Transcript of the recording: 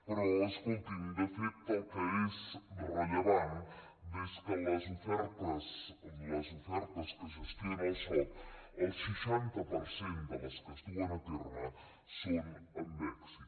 però escolti’m de fet el que és rellevant és que de les ofertes que gestiona el soc el seixanta per cent de les que es duen a terme són amb èxit